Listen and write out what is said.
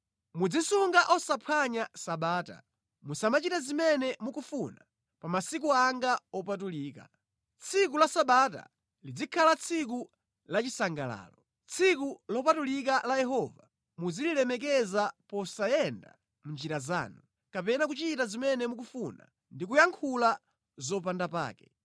“Muzisunga osaphwanya Sabata; musamachite zimene mukufuna pa masiku anga opatulika, tsiku la Sabata lizikhala tsiku lachisangalalo. Tsiku lopatulika la Yehova muzililemekeza posayenda mʼnjira zanu, kapena kuchita zimene mukufuna ndi kuyankhula zopandapake,